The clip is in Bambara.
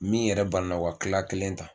Min yɛrɛ banana o ka kila kelen ta.